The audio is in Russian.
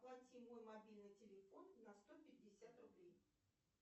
оплати мой мобильный телефон на сто пятьдесят рублей